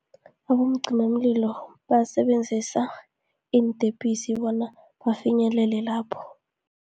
Abomncimamlilo basebenzisa iintepisi bona bafinyelele lapho.